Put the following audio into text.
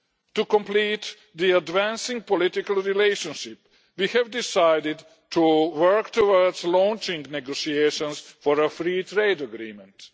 To complete the advancing political relationship, we have decided to work towards launching negotiations for a free trade agreement.